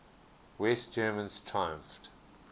west germans triumphed